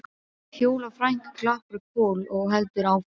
Fjóla frænka klappar Kol og heldur áfram